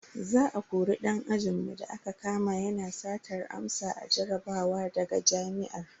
Za a kori dan ajinmu da aka kama yana satar amsa a jarabawa daga jami'ar.